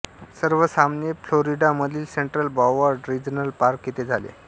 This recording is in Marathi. सर्व सामने फ्लोरिडा मधील सेंट्रल ब्रॉवर्ड रिजनल पार्क येथे झाले